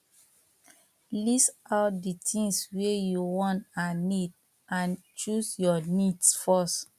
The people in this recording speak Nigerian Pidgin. list out di things wey you want and need and choose your needs first